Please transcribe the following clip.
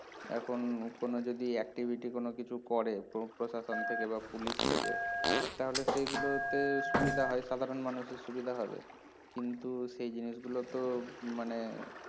এখন উম লোকগুলো যদি activity কোনো কিছু করে প্রো প্রশাসন থেকে বা পুলিশ থেকে তাহলে সেইগুলোতে সুবিধা হয় সাধারণ মানুষের সুবিধা হবে কিন্তু সেই জিনিসগুলোতো মানে